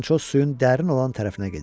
Fransoz suyun dərin olan tərəfinə gedir.